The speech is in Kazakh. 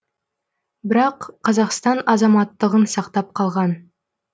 бірақ қазақстан азаматтығын сақтап қалған